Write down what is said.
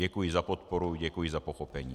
Děkuji za podporu, děkuji za pochopení.